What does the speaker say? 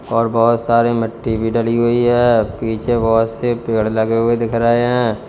और बहोत सारी मिट्टी भी डली हुई है पीछे बहुत से पेड़ लगे हुए दिख रहे हैं।